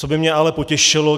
Co by mě ale potěšilo?